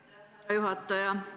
Aitäh, hea juhataja!